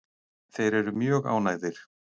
Þeir eru mjög ánægðir.